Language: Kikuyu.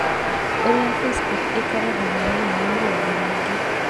Ũrĩa Facebook ĩkoragwo mũthenya wa maũndũ maingĩ.